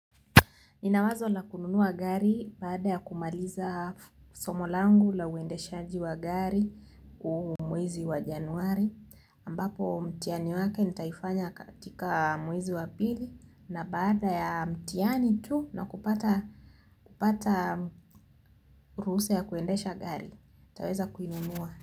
Nina wazo la kununua gari baada ya kumaliza somo langu la uendeshaji wa gari huu mwezi wa Januari ambapo mtiani wake nitaifanya katika mwezi wa pili na baada ya mtiani tu na kupata, kupata ruhusa ya kuendesha gari. Nitaweza kuinunua.